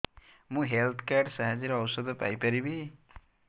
ମୁଁ health card ସାହାଯ୍ୟରେ ଔଷଧ ପାଇ ପାରିବି